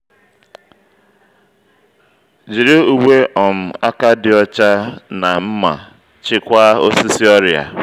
jiri uwe um aka dị ọcha na nma chịkwaa osisi ọrịa